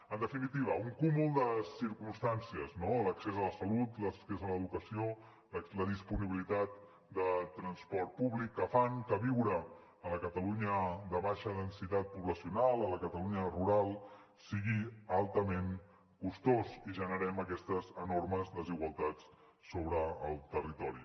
en definitiva un cúmul de circumstàncies no l’accés a la salut l’accés a l’educació la disponibilitat de transport públic que fan que viure a la catalunya de baixa densitat poblacional a la catalunya rural sigui altament costós i generem aquestes enormes desigualtats sobre el territori